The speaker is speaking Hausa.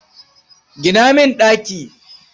Gina min ɗaki.